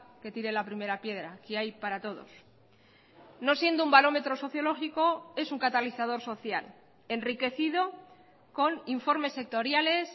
que tire la primera piedra que hay para todos no siendo un barómetro sociológico es un catalizador social enriquecido con informes sectoriales